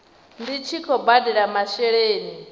ndi tshi khou badela masheleni